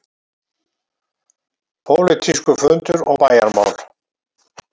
PÓLITÍSKUR FUNDUR OG BÆJARMÁL